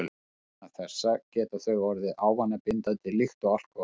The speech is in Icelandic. Vegna þessa geta þau orðið ávanabindandi líkt og alkóhól.